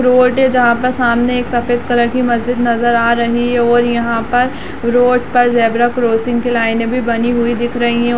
road है जहाँ पर सामने एक सफ़ेद कलर कि मस्जिद नजर आ रही है और यहाँ पर रोड पर ज़ेबरा क्रॉसिंग कि लाइनें भी बनी हुई दिख रही है और --